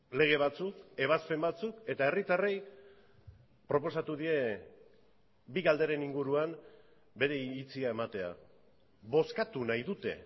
lege batzuk ebazpen batzuk eta herritarrei proposatu die bi galderen inguruan bere iritzia ematea bozkatu nahi dute